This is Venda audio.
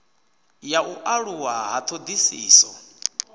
ya u aluwa ha ṱhoḓisiso